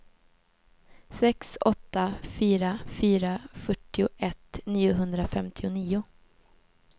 sex åtta fyra fyra fyrtioett niohundrafemtionio